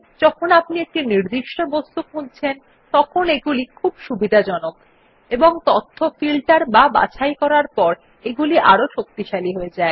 যখন আপনি একটি নির্দিষ্ট বস্তু খুঁজছেন তখন এগুলি খুব সুবিধাজনক এবং তথ্য ফিল্টার বা বাছাই করার পর এগুলি আরও শক্তিশালী হয়ে যায়